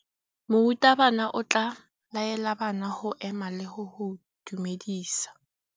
Morutabana o tla laela bana go ema le go go dumedisa.